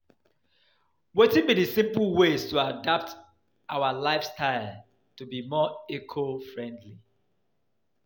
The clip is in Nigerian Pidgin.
Wetin be di simple ways to adapt our lifestyle to be more eco-friendly?